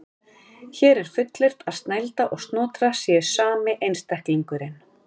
Hér er fullyrt að Snælda og Snotra séu sami einstaklingurinn.